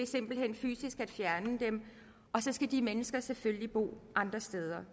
simpelt hen fysisk fjerner dem og så skal de mennesker selvfølgelig bo andre steder